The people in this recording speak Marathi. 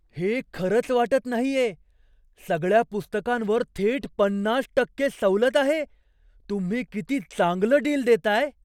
हे खरंच वाटत नाहीये! सगळ्या पुस्तकांवर थेट पन्नास टक्के सवलत आहे. तुम्ही किती चांगलं डील देताय.